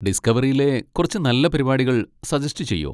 ഡിസ്ക്കവറിയിലെ കുറച്ച് നല്ല പരിപാടികൾ സജെസ്റ്റ് ചെയ്യോ?